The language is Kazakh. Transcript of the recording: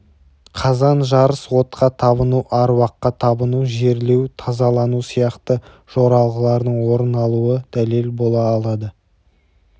қазан жарыс отқа табыну аруаққа табыну жерлеу тазалану сияқты жоралғылардың орын алуы дәлел бола алады